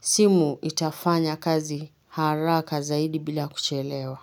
simu itafanya kazi haraka zaidi bila kuchelewa.